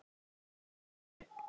Er hann ekki í rusli?